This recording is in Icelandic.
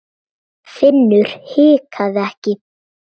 Finnur hikaði ekki.